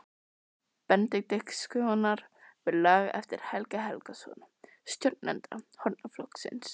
Benediktssonar við lag eftir Helga Helgason, stjórnanda hornaflokksins.